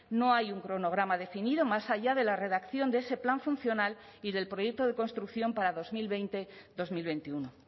no hay un cronograma definido más allá de la redacción de ese plan funcional y del proyecto de construcción para dos mil veinte dos mil veintiuno